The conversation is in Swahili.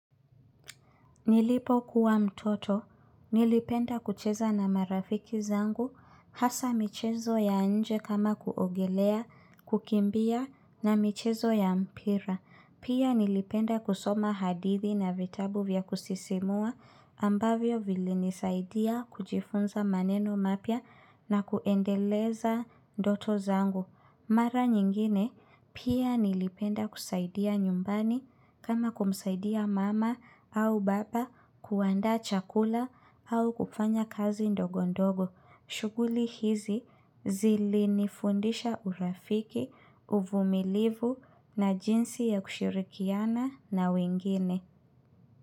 Nilipokuwa mtoto, nilipenda kucheza na marafiki zangu hasa michezo ya nje kama kuogelea, kukimbia na michezo ya mpira. Pia nilipenda kusoma hadithi na vitabu vya kusisimua ambavyo vilinisaidia kujifunza maneno mapya na kuendeleza ndoto zangu. Mara nyingine pia nilipenda kusaidia nyumbani kama kumsaidia mama au baba kuandaa chakula au kufanya kazi ndogo ndogo. Shughuli hizi zilinifundisha urafiki, uvumilivu na jinsi ya kushirikiana na wengine.